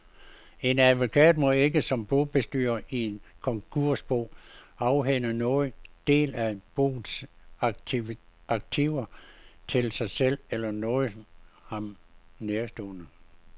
En advokat må ikke som bobestyrer i et konkursbo afhænde nogen del af boets aktiver til sig selv eller nogen ham nærtstående.